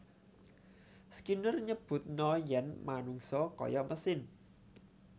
Skinner nyebutna yen manungsa kaya mesin